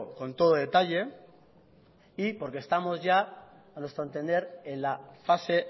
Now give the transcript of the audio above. con todo detalle y porque estamos ya a nuestro entender en la fase